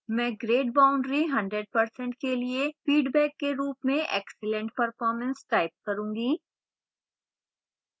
मैं grade boundary 100% के लिए feedback के रूप में excellent performance type करूँगी